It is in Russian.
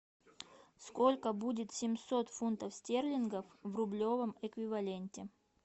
сколько будет семьсот фунтов стерлингов в рублевом эквиваленте